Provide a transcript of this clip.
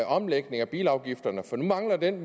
omlægning af bilafgifterne for nu mangler den